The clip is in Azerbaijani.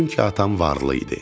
Çünki atam varlı idi.